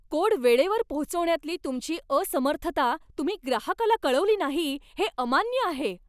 Code वेळेवर पोहोचवण्यातली तुमची असमर्थता तुम्ही ग्राहकाला कळवली नाही हे अमान्य आहे.